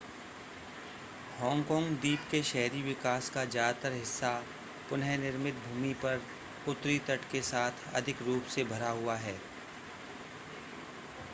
Hong Kong द्वीप के शहरी विकास का ज्यादातर हिस्सा पुनः निर्मित भूमि पर उत्तरी तट के साथ अधिक रूप से भरा हुआ है